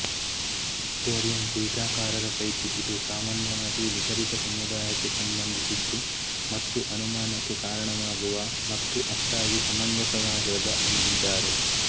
Victorian ಟೀಕಾಕಾರರ ಪೈಕಿ ಇದು ಸಾಮಾನ್ಯವಾಗಿ ನಿಗದಿತ ಸಮುದಾಯಕ್ಕೆ ಸಂಬಂಧಿಸಿದ್ದು ಮತ್ತು ಅನುಮಾನಕ್ಕೆ ಕಾರಣವಾಗುವ ಮತ್ತು ಅಷ್ಟಾಗಿ ಸಮಂಜಸವಾಗಿರದ ಎಂದಿದ್ದಾರೆ